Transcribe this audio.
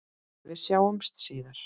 Við sjáumst síðar.